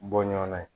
Bɔ ɲɔn na yen